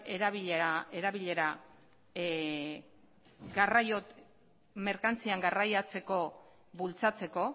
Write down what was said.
merkantzien garraioa bultzatzeko